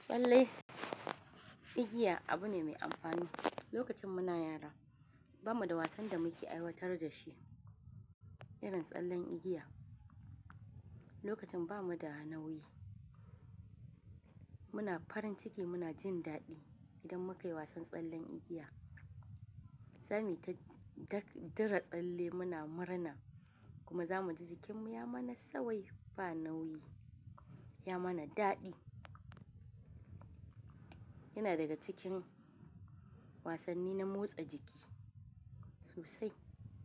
Tsalle, igiya abu ne mai amfani. Lokacin muna yara bamu da wasan da muke aiwatar da shi, irin tsallen igiya. Lokacin bamu da nauyi, muna farin ciki muna jin daɗi idan mukayi wasan tsallen igiya. Sani ta daka dira tsalle muna murna kuma zamu ji jikinmu ya mana sauwai ba nauyi, ya mana daɗi. Yana daga cikin wasanni na motsa jiki sosai.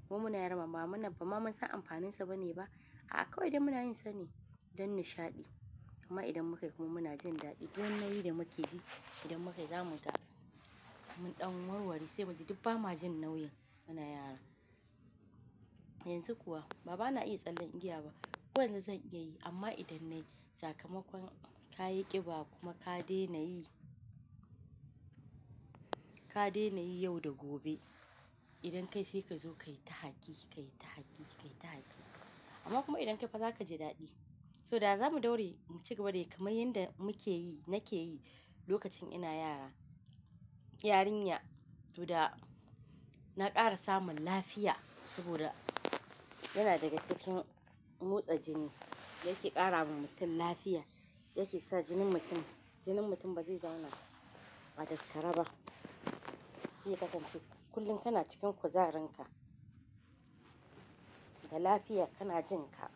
Mu muna yara mama mana bama mun san amfaninsa bane ba. Hakka idan muna yin sane don nishaɗi kuma idan mukayi kuma muna jin daɗi. Duk wani nauyi da mukaji idan mukayi zamu ƙara mun ɗan warware saboda duk ba ma jin nauyin muna yara. Yanzu kuwa ba bana iya tsallen igiya ba. Ko yanzu zan iya yi amma idan nayi sakamakon kayi ƙiba kuma ka dena yi, ka dena yi yau da gobe. Idan ka yi sai ka zo ka yi ta haki, ka yi ta haki, ka yi ta haki. Amma kuma idan ka yi fa za ka ji daɗi. So da za mu daure mu cigaba da yi kamar yanda muke yi, nake yi lokacin ina yara. Yarinya, to da na ƙara samun lafiya saboda yana daga cikin motsa jiki da yake ƙara wa mutum lafiya. Yake sa jinin mutum, jinin mutum ba zai zauna a daskare ba. Shi ya kasance kullum kana cikin kuzarin ka, da lafiya kana jin ka.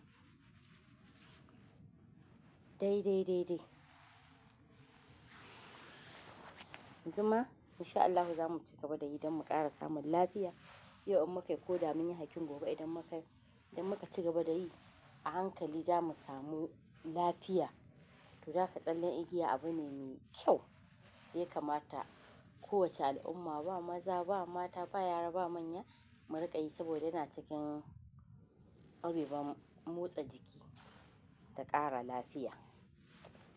Dai, dai, dai, dai. Yamzuma insha Allahu za mu cigaba da yi don mu ƙara samun lafiya. Yau in muka yi ko da mun yi hakkin gobe idan muka yi, idan muka cigaba da yi a hankali za mu samu lafiya. To, da haka tsallen igiya abu ne me kyau yaka mata. Kowace al'umma ba maza ba mata ba yara ba manya mu riƙa yi saboda yana cikin abubuwan motsa jiki da ƙara lafiya.